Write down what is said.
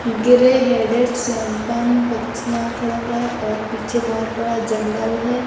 Grey headed swamphen पक्षीया खड़ा हुआ है और पीछे बहोत बड़ा जंगल है।